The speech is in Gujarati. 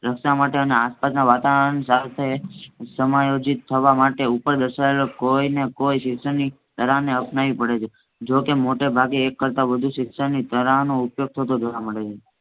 રસ્તા માટે અને વાતાવર સાથે સમાયોજિત થવા માટે ઉપર દર્શાવેલ કોઈ ને કોઈ શિક્ષણની કળાને અપનાવી પડે છે. જોકે મૉટે ભાગે એક કરતા વધુ શિક્ષણની તારાહનો ઉપયોગ થતો જોવા મળે છે.